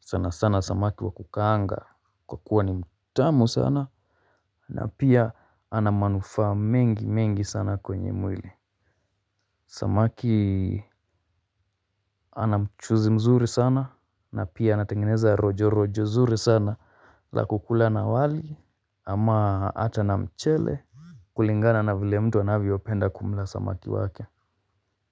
sana sana samaki wa kukaanga kwa kuwa ni mtamu sana. Na pia anamanufaaa mengi mengi sana kwenye mwili. Samaki anamchuzi mzuri sana na pia anatengeneza rojo rojo zuri sana la kukula na wali ama hata na mchele. Kulingana na vile mtu anavyopenda kumla samaki wake.